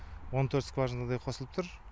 он төрт скважинадай қосылып тұр